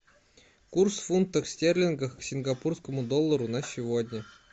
курс в фунтах стерлингах к сингапурскому доллару на сегодня